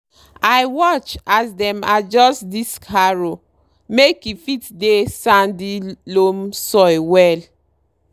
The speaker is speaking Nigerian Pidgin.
i watch as dem adjust disc harrow make e fit dey sandy loam soil well